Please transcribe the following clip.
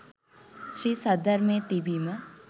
ශ්‍රී සද්ධර්මය තිබීම